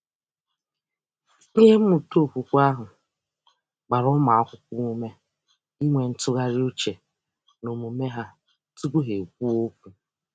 Ihe mmụta okwukwe ahụ gbara ụmụakwụkwọ ume inwe ntụgharị uche n’omume ha tụpụ ha ekwuo okwu.